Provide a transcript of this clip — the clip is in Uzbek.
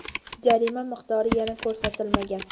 Jarima miqdori yana ko‘rsatilmagan.